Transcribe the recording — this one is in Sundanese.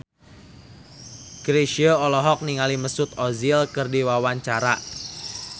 Chrisye olohok ningali Mesut Ozil keur diwawancara